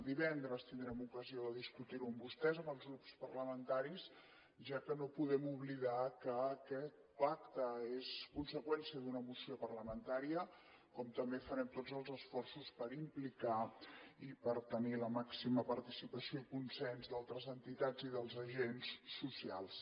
divendres tindrem ocasió de discutir ho amb vostès amb els grups parlamentaris ja que no podem oblidar que aquest pacte és conseqüència d’una moció parlamentària com també farem tots els esforços per implicar i per tenir la màxima participació i consens d’altres entitats i dels agents socials